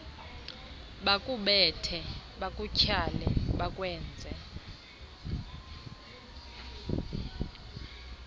bakubethe bakutyhale bakwenze